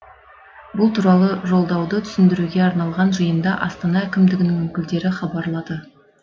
бұл туралы жолдауды түсіндіруге арналған жиында астана әкімдігінің өкілдері хабарлады